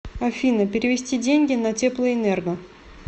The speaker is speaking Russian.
афина перевести деньги на теплоэнерго